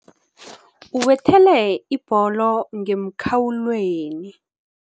Ubethele ibholo ngemkhawulweni.